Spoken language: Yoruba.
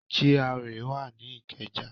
GRA wà ní Ìkẹjà.